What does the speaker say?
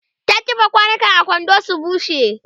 ta kifa kwanukan a kwando su bushe